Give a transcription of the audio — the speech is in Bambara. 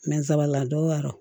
Nsrala dɔw y'a dɔn